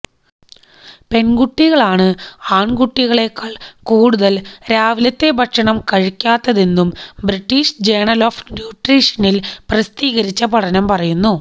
പെൺകുട്ടികളാണ് ആൺകുട്ടികളെക്കാൾ കൂടുതൽ രാവിലത്തെ ഭക്ഷണം കഴിക്കാത്തതെന്നും ബ്രിട്ടീഷ് ജേണൽ ഓഫ് ന്യൂട്രീഷനിൽ പ്രസിദ്ധീകരിച്ച പഠനം പറയുന്നു